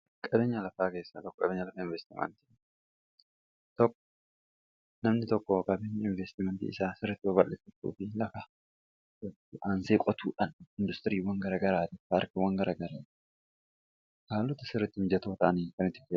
namni tokko qaben investiimantii isaa sirritti baballiffutuu fi laka ga aansee qotuudhan industiriiwwan gara garaati paarkiiwwan garagare kaalota sirritti mjatoo ta'anii ka